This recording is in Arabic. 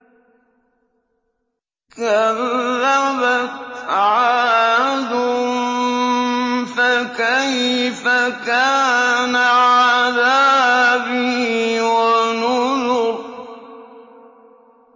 كَذَّبَتْ عَادٌ فَكَيْفَ كَانَ عَذَابِي وَنُذُرِ